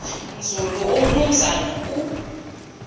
nzulu umnumzana u